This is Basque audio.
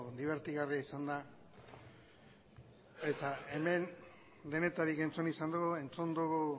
dibertigarria izan da eta hemen denetarik entzun izan dugu entzun dugu